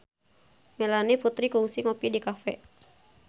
Melanie Putri kungsi ngopi di cafe